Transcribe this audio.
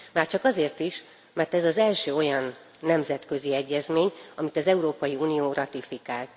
Már csak azért is, mert ez az első olyan nemzetközi egyezmény, amit az Európai Unió ratifikált.